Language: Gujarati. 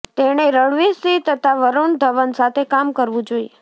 તેણે રણવીર સિંહ તથા વરુણ ધવન સાથે કામ કરવું જોઈએ